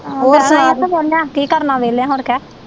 ਆਹੋ ਬਹਿਣਾ ਈਆ ਤੇ ਕੀ ਕਰਨਾ ਵੇਹਲਿਆਂ ਹੋਰ ਕਹਿ।